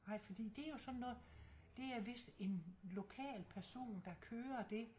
Ej fordi det er jo sådan noget det er vidst en lokal person der kører det